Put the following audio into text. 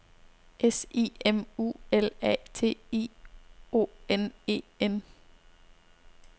S I M U L A T I O N E N